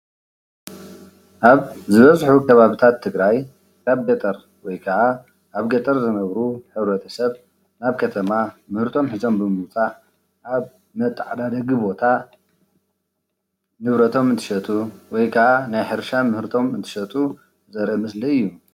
ኣብ ዝበዝሑ ከባብታት ትግራይ ኣብ ገጠር ወይ ካዓ ኣብ ገጠር ዝነብሩ ሕ/ሰብ ኣብ ከተማ ምህርቶም ሕዞም ብምምፃእ ኣብ መታዓዳደጊ ቦታ ንብረቶም እንትሸጡ ወይ ከዓ ናይ ሕርሻ ምህርቶም እንትሸጡ ዘርኢ ምስሊ እዩ።